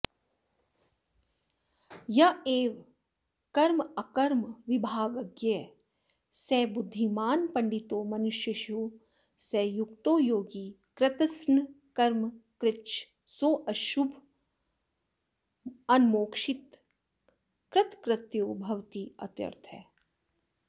य एवं कर्माकर्मविभागज्ञःेस बुद्धिमान्पण्डितो मनुष्येषु स युक्तो योगी कृत्स्नकर्मकृच्च सोऽशुभान्मोक्षितः कृतकृत्यो भवतीत्यर्थः